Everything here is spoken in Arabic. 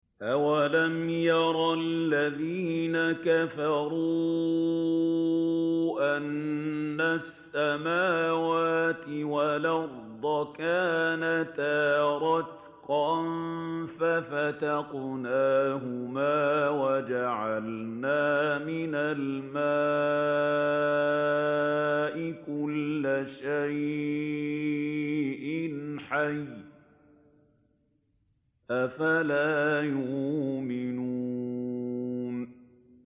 أَوَلَمْ يَرَ الَّذِينَ كَفَرُوا أَنَّ السَّمَاوَاتِ وَالْأَرْضَ كَانَتَا رَتْقًا فَفَتَقْنَاهُمَا ۖ وَجَعَلْنَا مِنَ الْمَاءِ كُلَّ شَيْءٍ حَيٍّ ۖ أَفَلَا يُؤْمِنُونَ